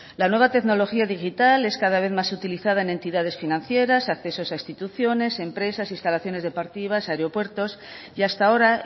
la nueva tecnología digital es cada vez más utilizada en entidades financieras accesos a instituciones empresas instalaciones deportivas aeropuertos y hasta ahora